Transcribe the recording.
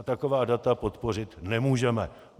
A taková data podpořit nemůžeme.